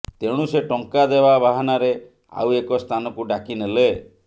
ତେଣୁ ସେ ଟଙ୍କା ଦେବା ବାହାନାରେ ଆଉ ଏକ ସ୍ଥାନକୁ ଡାକିନେଲେ